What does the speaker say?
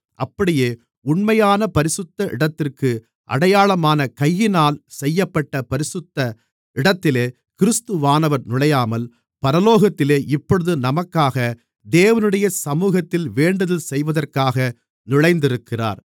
அப்படியே உண்மையான பரிசுத்த இடத்திற்கு அடையாளமான கையினால் செய்யப்பட்ட பரிசுத்த இடத்திலே கிறிஸ்துவானவர் நுழையாமல் பரலோகத்திலே இப்பொழுது நமக்காக தேவனுடைய சமூகத்தில் வேண்டுதல் செய்வதற்காக நுழைந்திருக்கிறார்